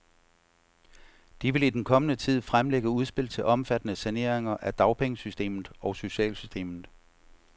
De vil i den kommende tid fremlægge udspil til omfattende saneringer af dagpengesystemet og socialsystemet.